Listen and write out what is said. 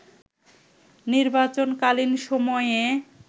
নির্বাচনকালীন সময়ে